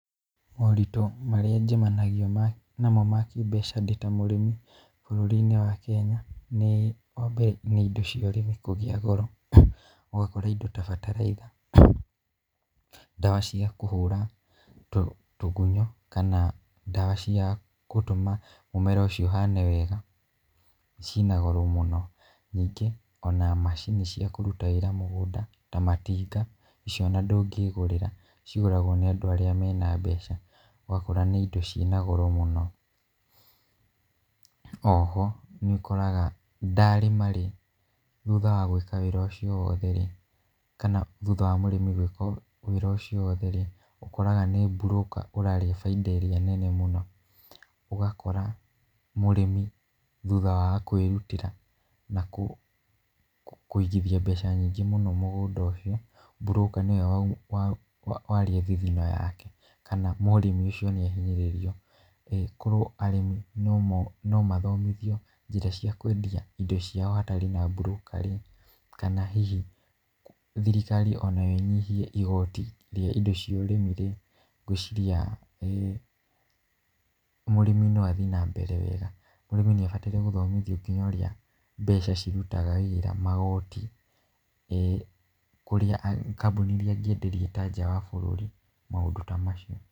Moritũ marĩa njemanagia namo ma kĩmbeca ndĩ ta mũrĩmi, bũrũri-inĩ wa Kenya nĩ, wambere nĩ indo cia ũrĩmi kũgĩa goro. Ũgakora indo ta bataraitha, ndawa cia kũhũra tugunyũ, kana ndawa cia gũtũma mũmera ũcio ũhane wega ciĩna goro mũno. Ningĩ ona macini cia kũruta wĩra mũgũnda ta matinga, icio ona ndũngĩgũrĩra cigũragwo nĩ andũ arĩa mena mbeca, ũgakora nĩ indo ciĩna goro mũno. Oho nĩũkoraga ndarĩma-rĩ, thutha wa gwĩka wĩra ũcio wothe-rĩ, kana thutha wa mũrĩmi gwĩka wĩra ũcio wothe-rĩ, ũkoraga nĩ mburũka ũrarĩa bainda ĩrĩa nene mũno. Ũgakora mũrĩmi thutha wa kwĩrutĩra na kũigithia mbeca nyingĩ mũno mũgũnda ũcio, mburũka nĩwe warĩa thigino yake, kana mũrĩmi ũcio nĩahinyĩrĩrio. Korwo arĩmi no mathomithio njĩra cia kwendia indo ciao hatarĩ na mburũka-rĩ, kana hihi thirikari onayo ĩnyihie igoti rĩa indo cia ũrĩmi-rĩ, ngwĩciria mũrĩmi no athiĩ na mbere wega. Mũrĩmi nĩabataire gũthomithio nginya ũrĩa mbeca cirutaga wĩra magoti kũrĩa kambũni iria angĩenderia ta nja wa bũrũri, maũndũ ta macio.